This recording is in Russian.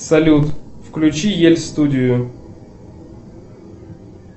салют включи ель студию